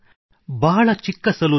ಬಹಳ ಚಿಕ್ಕ ಸಲೂನ್ ಇದೆ